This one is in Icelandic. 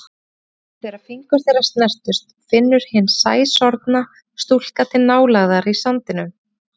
Og einmitt þegar fingur þeirra snertast finnur hin sæsorfna stúlka til nálægðar í sandinum.